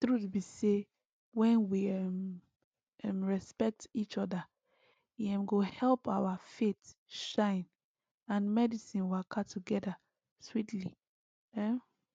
truth be say when we um um respect each other e um go help our faith shine and medicine waka together sweetly um